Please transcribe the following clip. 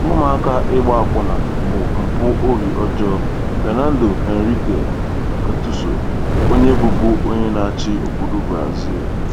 “Ụmụaka ịgba akwụna bụ mpụ obi ọjọọ.” — FERNANDO HENRIQUE CARDOSO, ONYE BỤBU ONYE NA-ACHỊ OBODO BRAZIL.